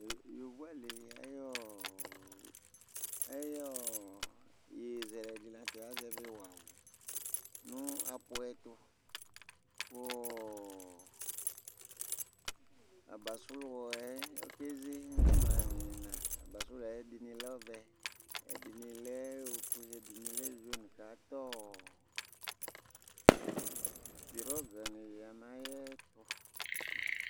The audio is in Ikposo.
yovo ali ayi ɔ ayi ɔ yeye zɛlɛ di lantɛ azɛvi wa wo no aƒu ɛto kò abasru yɛ ɔke ze imla n'ina abasru yɛ ɛdini lɛ ɔvɛ ɛdini lɛ ofue ɛdini lɛ juin k'ata pirɔg ni ya n'ayi ɛto